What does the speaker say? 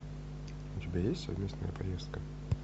у тебя есть совместная поездка